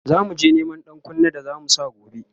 zamuje Neman ɗankunne da zamu Sa gobe